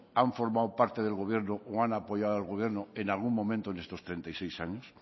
han formado parte del gobierno o han apoyado al gobierno en algún momento en estos treinta y seis años